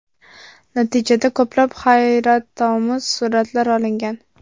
Natijada ko‘plab hayratomuz suratlar olingan.